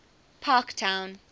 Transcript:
parktown